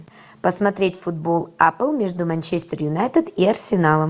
посмотреть футбол апл между манчестер юнайтед и арсеналом